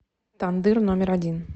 тандыр номер один